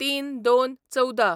०३/०२/१४